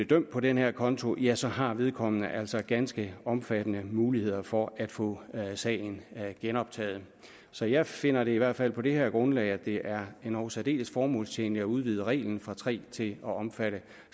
dømt på den her konto ja så har vedkommende altså ganske omfattende muligheder for at få sagen genoptaget så jeg finder i hvert fald på det her grundlag at det er endog særdeles formålstjenligt at udvide reglen fra tre måneder til at omfatte